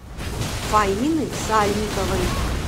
фаины сальниковой